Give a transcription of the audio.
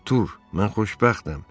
Artur, mən xoşbəxtəm.